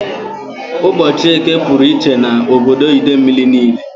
Ụbọchị Eke pụrụ iche na obodo Idemili niile